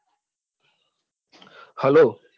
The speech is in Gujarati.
Hello